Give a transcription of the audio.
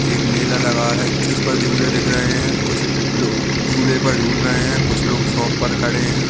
एक मेला लगा है जिसपर झूले दिख रहे है कुछ लोग झूले पर झूल रहे है कुछ लोग शॉप पर खड़े है।